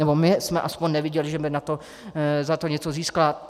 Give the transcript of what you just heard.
Nebo my jsme aspoň neviděli, že by za to něco získala.